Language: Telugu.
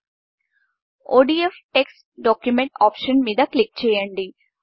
ODF text document text document option మీద క్లిక్ చేయండి